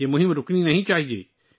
یہ مہم بند نہیں ہونی چاہیے